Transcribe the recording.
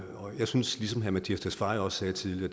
og jeg synes ligesom herre mattias tesfaye sagde tidligere